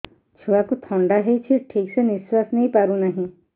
ଛୁଆକୁ ଥଣ୍ଡା ହେଇଛି ଠିକ ସେ ନିଶ୍ୱାସ ନେଇ ପାରୁ ନାହିଁ